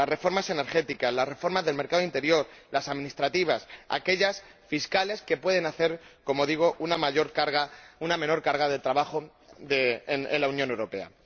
las reformas energéticas, las reformas del mercado interior, las administrativas, aquellas fiscales que pueden hacer —como digo— una menor carga de trabajo en la Unión Europea.